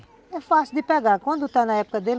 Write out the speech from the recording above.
É. É fácil de pegar quando está na época dele.